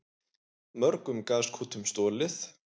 Mörgum gaskútum stolið